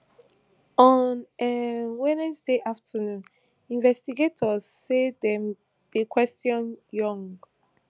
on um wednesday afternoon investigators say dem dey question yoon